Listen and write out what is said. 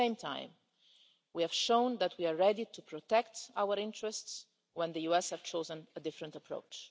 At the same time, we have shown that we are ready to protect our interests when the USA has chosen a different approach.